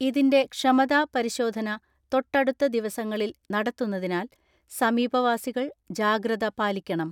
ഇതിന്റെ ക്ഷമതാ പരിശോധന തൊട്ടടുത്ത ദിവസങ്ങളിൽ നടത്തുന്നതിനാൽ സമീപവാസികൾ ജാഗ്രത പാലിക്കണം.